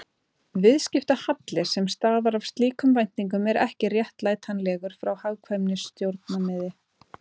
Viðskiptahalli sem stafar af slíkum væntingum er ekki réttlætanlegur frá hagkvæmnissjónarmiði.